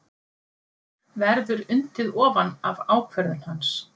Verður undið ofan af ákvörðun hans?